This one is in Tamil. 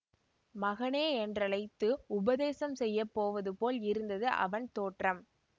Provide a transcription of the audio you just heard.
மகனே என்றழைத்து உபதேசம் செய்ய போவது போல் இருந்தது அவன் தோற்றம்